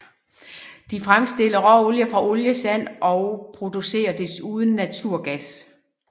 De fremstiller råolie fra oliesand og producerer desuden naturgas